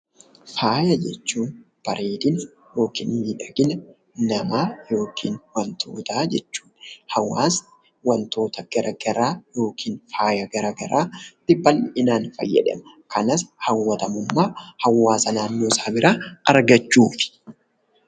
Faaya jechuun bareedina yookiin miidhagina namaa yookiin waantota jechuudha. Hawaasni waantota garaagaraa yookiin faaya garaagaraa bal'inaan fayyadama. Kanas hawwatamummaa hawaasa naannoo isaa biraa argachuuf.